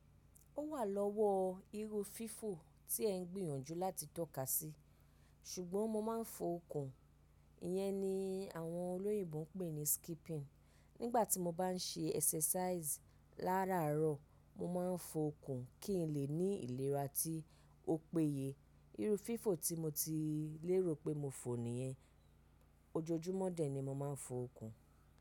Ó wà lọ́wọ́ iru fífò tí ẹ ń gbìyànjú láti tọ́ka sí. Ṣùgbọ́n mo máa ń fo okùn. Iyẹn ni àwọn olóyìnbo ń pè ní skipping. Nígbà tí mo bá ń ṣe exercise láràárọ̀, mo máa ń fo okùn kí n lè ní ìlera tí ó péye. Iru fífò tí mo ti lérò pé mo fò nìyẹn. Ojojúmọ́ dẹ̀ ni mo máa ń fo okùn.